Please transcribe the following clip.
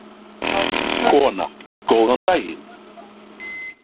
Kona: Góðan daginn.